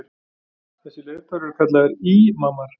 Þessir leiðtogar eru kallaðir ímamar.